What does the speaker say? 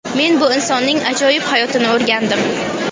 Men bu insonning ajoyib hayotini o‘rgandim.